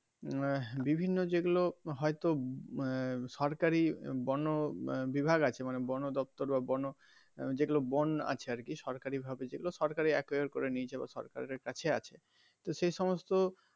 আহ বিভিন্ন যে গুলো হয় তো আহ সরকারি বন বিভাগ আছে মানে বন দপ্তর বা বন যেগুলো বন আছে আর কি সরকারি ভাবে যেগুলো সরকারি করে নিয়েছে সরকারের কাছে আছে তো সেই সমস্ত.